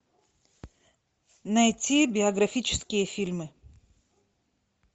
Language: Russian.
найти биографические фильмы